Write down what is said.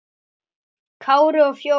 Kári og Fjóla.